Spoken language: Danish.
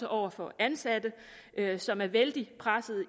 over for ansatte som er vældig presset